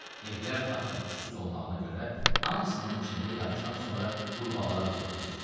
Evlər taxta puşsuz olmağına görə hamısının içində yağışdan sonra qurbağalar quruğlayır.